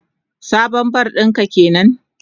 Sabon bar din ka kenan?